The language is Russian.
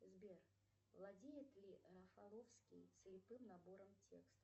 сбер владеет ли рафаловский слепым набором текста